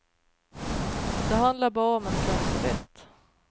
Det handlar bara om att klä sig rätt.